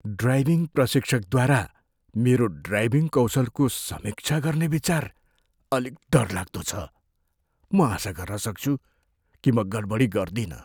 Driving प्रशिक्षकद्वारा मेरो driving कौशलको समीक्षा गर्ने विचार अलिक डरलाग्दो लाग्छ। म आशा गर्छु कि म गडबडी गर्दिनँ।